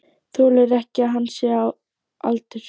Þolir ekki að minnst sé á aldur.